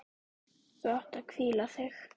Þú átt að hvíla þig.